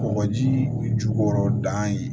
Kɔgɔji jukɔrɔ dan ye